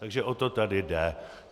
Takže o to tady jde.